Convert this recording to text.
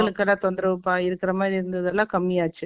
மக்களுக்கெல்லாம் தொந்தரவுப்பா, இருக்கிற மாதிரி இருந்தது எல்லாம் கம்மியாச்சு